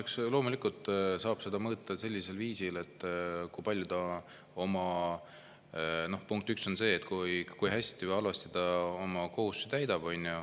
Eks loomulikult saab seda mõõta sellisel viisil, punkt üks, kui hästi või halvasti ta oma kohustusi täidab.